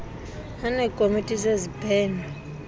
aneekomiti zezib heno